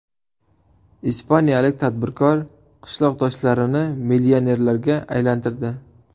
Ispaniyalik tadbirkor qishloqdoshlarini millionerlarga aylantirdi.